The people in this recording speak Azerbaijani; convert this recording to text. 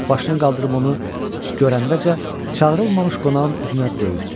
Başını qaldırıb onu görəndəcə çağırılmamış qonağın üzünə döyükdü.